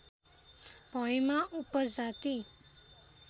भएमा उपजाति